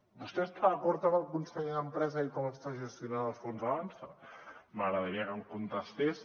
vostè està d’acord amb el conseller d’empresa i com està gestionant el fons avançsa m’agradaria que em contestés